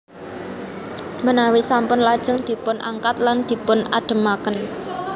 Menawi sampun lajeng dipun angkat lan dipun ademaken